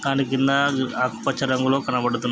దాని కింద ఆకుపచ్చ రంగులో కనబడుతు--